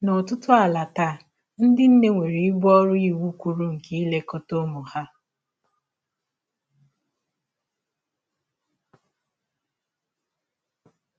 N’ọtụtụ ala taa, ndị nne nwere ibu ọrụ iwụ kwụrụ nke ilekọta ụmụ ha.